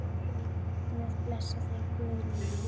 Guð blessi þig, Guðrún mín.